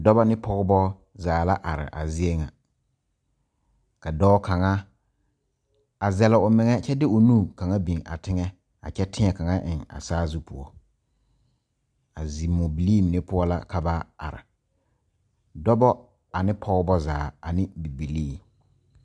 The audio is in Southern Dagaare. Dɔɔba ne Pɔgeba zaa la are a zie ŋa ka dɔɔ kaŋa a sele o meŋa kyɛ de o nu kaŋa a biŋ teŋa a kyɛ teɛ kaŋa a sazu poɔ a zimobilii mine poɔ la ka ba are Dɔɔba ane Pɔgeba zaa ane bibilii